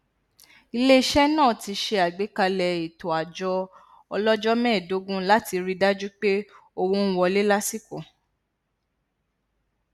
ilé iṣẹ náà ti ṣe àgbékalẹ ètò àjọ ọlọjọ mẹẹdógún láti ri í dájú pé owó n wọlé lásìkò